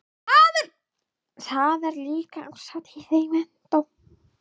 Það er líka árshátíð í menntó.